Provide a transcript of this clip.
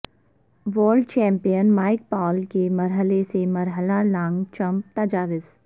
world champion Mike Powell کے مرحلے سے مرحلہ لانگ جمپ تجاویز